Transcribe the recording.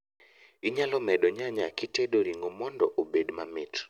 Inyalo medo nyanya kitedo ring'o mondo obed mamit